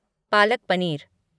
Palak paneer